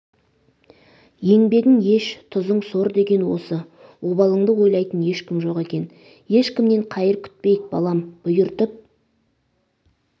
еңбегің еш тұзың сор деген осы обалыңды ойлайтын ешкім жоқ екен ешкімнен қайыр күтпейік балам бұйыртып